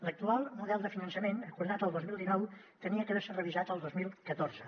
l’actual model de finançament acordat el dos mil dinou havia d’haver se revisat el dos mil catorze